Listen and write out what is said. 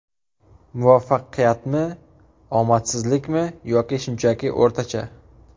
Muvaffaqiyatmi, omadsizlikmi yoki shunchaki o‘rtacha?